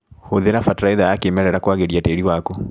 Hũthĩra bataraitha ya kĩmerera kwagĩria tĩri waku.